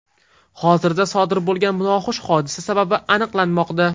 Hozirda sodir bo‘lgan noxush hodisa sababi aniqlanmoqda.